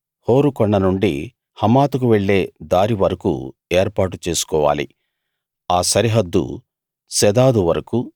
హోరు కొండ నుండి హమాతుకు వెళ్ళే దారి వరకూ ఏర్పాటు చేసుకోవాలి ఆ సరిహద్దు సెదాదు వరకూ